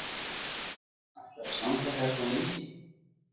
Helga: Ætlarðu að standa hérna lengi?